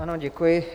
Ano, děkuji.